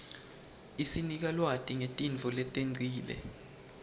isinika lwati ngetintfo letengcile